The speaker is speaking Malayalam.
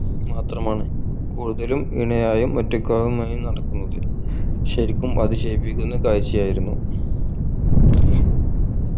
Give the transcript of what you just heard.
മാത്രമാണ് കൂടുതലും ഇണയായും ഒറ്റക്കാനുമായും നടക്കുന്നത് ശരിക്കും അതിശയിപ്പിക്കുന്ന കാഴ്ചയായിരുന്നു